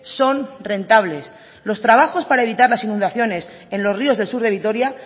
son rentables los trabajos para evitar las inundaciones en los ríos del sur de vitoria